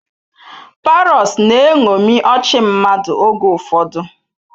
Parrots na-eṅomi ọchị mmadụ oge ụfọdụ.